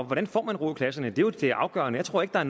hvordan får man ro i klasserne det er jo det afgørende jeg tror ikke at